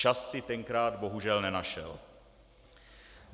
Čas si tenkrát bohužel nenašel.